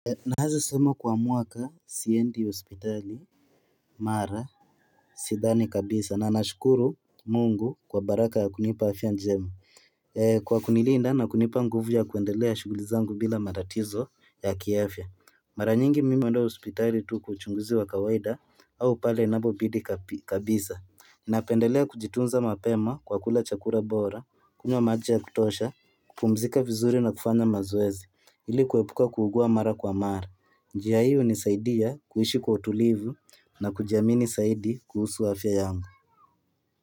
Naeza sema kwa mwaka siendi hospitali mara sidhani kabisa na nashukuru mungu kwa baraka ya kunipa afya njema Kwa kunilinda na kunipa nguvu ya kuendelea shughuli zangu bila matatizo ya kiafya Mara nyingi mimi huenda hospitali tu kwa uchunguzi wa kawaida au pale inapo bidi kabisa na pendelea kujitunza mapema kwa kula chakula bora, kunywa maji ya kutosha, kupumzika vizuri na kufanya mazoezi Ilikue puka kuugua mara kwa mara. Njia hii u ni saidia kuishi kwa utulivu na kujiamini saidi kuhusu afya yangu.